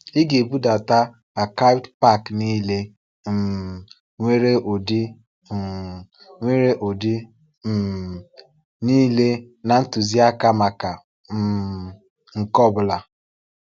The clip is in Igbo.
Ị ga-ebudata *archived pack* niile um nwere ụdị um nwere ụdị um niile na ntuziaka maka um nke ọ bụla.